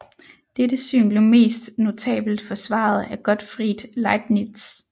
Dette syn blev mest notabelt forsvaret af Gottfried Leibniz